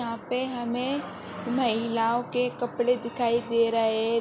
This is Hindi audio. यहाँ पे हमें महिलओं के कपड़े दिखाई दे रहे --